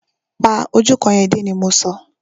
Pa ojú òkú yẹn dé! ni mọ so.